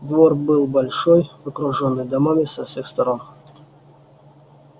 двор был большой окружённый домами со всех сторон